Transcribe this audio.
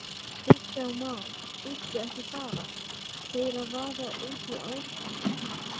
Kristján Már: Bíddu, ekki fara þeir að vaða út í árnar í þessu?